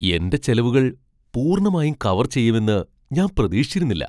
എന്റെ ചെലവുകൾ പൂർണ്ണമായും കവർ ചെയ്യുമെന്ന് ഞാൻ പ്രതീക്ഷിച്ചിരുന്നില്ല.